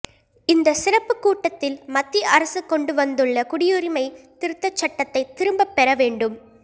இந்த சிறப்பு கூட்டத்தில் மத்திய அரசு கொண்டு வந்துள்ள குடியுரிமை திருத் தச் சட்டத்தை திரும்பப்பெற வேண் டும்